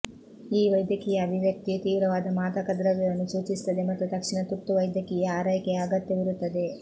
ಈ ವೈದ್ಯಕೀಯ ಅಭಿವ್ಯಕ್ತಿಯು ತೀವ್ರವಾದ ಮಾದಕದ್ರವ್ಯವನ್ನು ಸೂಚಿಸುತ್ತದೆ ಮತ್ತು ತಕ್ಷಣ ತುರ್ತು ವೈದ್ಯಕೀಯ ಆರೈಕೆಯ ಅಗತ್ಯವಿರುತ್ತದೆ